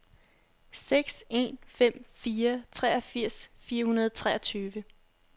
seks en fem fire treogfirs fire hundrede og treogtyve